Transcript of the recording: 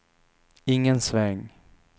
ingen sväng